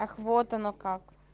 ах вот оно как